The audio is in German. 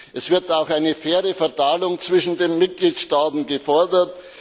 Es wird auch eine faire Verteilung zwischen den Mitgliedstaaten gefordert.